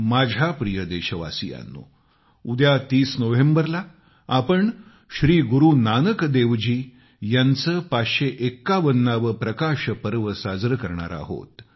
माझ्या प्रिय देशवासियांनो उद्या 30 नोव्हेंबरला आपण श्रीगुरू नानक देव जी यांचा 551 वा प्रकाश पर्व साजरे करणार आहोत